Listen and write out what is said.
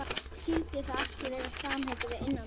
Skyldi það ekki vera samheiti við innantómt?